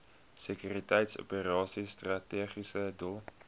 sekuriteitsoperasies strategiese doel